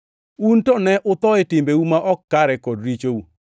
Un to ne utho e timbeu ma ok kare kod richou,